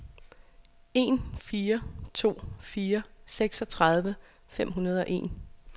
en fire to fire seksogtredive fem hundrede og en